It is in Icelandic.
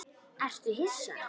Ertu hissa?